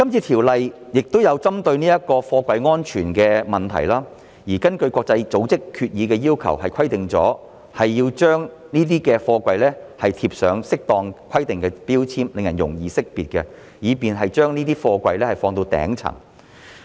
《條例草案》亦有針對貨櫃安全的問題，而根據國際組織決議的要求，需要在貨櫃貼上符合規定的標籤，令人容易識別，以便把貨櫃置放在頂層。